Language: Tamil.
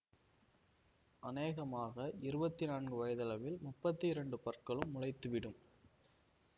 அனேகமாக இருபத்தி நான்கு வயதளவில் முப்பத்தி இரண்டு பற்களும் முளைத்துவிடும்